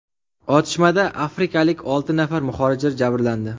Otishmada afrikalik olti nafar muhojir jabrlandi.